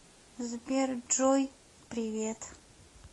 сбер джой привет